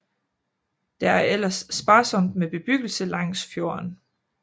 Der er ellers sparsomt med bebyggelse langs fjorden